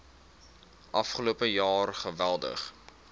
afgelope jaar geweldig